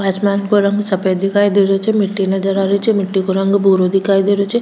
आसमान सफ़ेद दिखाई दे रो छे मिट्टी नज़र आ री छे मिट्टी को रंग भूरा दिखाई दे रो छे।